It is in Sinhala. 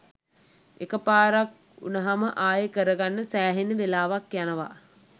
එක පාරක් වුනහම ආයේ කරගන්න සෑහෙන වෙලාවක් යනවා